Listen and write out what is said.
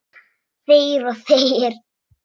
Þegir og þegir.